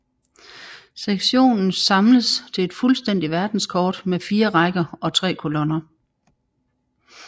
Sektionernes samles til et fuldstændigt verdenskort med fire rækker og tre kolonner